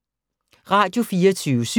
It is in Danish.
Radio24syv